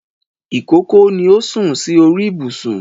Ìkókó ni ó sún sí orí ìbùsùn